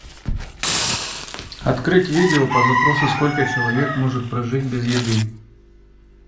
открыть видео по запросу сколько человек может прожить без еды